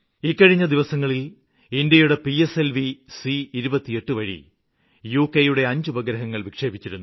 ഇക്കഴിഞ്ഞ ദിവസങ്ങളില് ഇന്ത്യയുടെ പിഎസ്എൽവി C28 വഴി ഡഗയുടെ 5 ഉപഗ്രഹങ്ങള് വിക്ഷേപിച്ചിരുന്നു